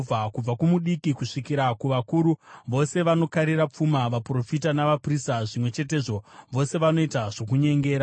“Kubva kumudiki kusvikira kuvakuru, vose vanokarira pfuma; vaprofita navaprista zvimwe chetezvo, vose vanoita zvokunyengera.